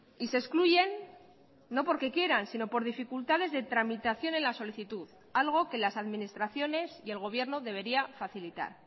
y se excluyen no porque quieran sino por dificultades de tramitación en la solicitud algo que las administraciones y el gobierno debería facilitar